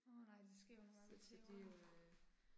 Åh nej det sker jo nogle gange med tæver